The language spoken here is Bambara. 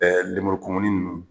lemuru kumuni ninnu